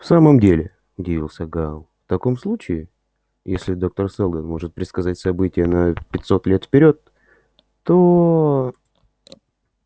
в самом деле удивился гаал в таком случае если доктор сэлдон может предсказать события на пятьсот лет вперёд то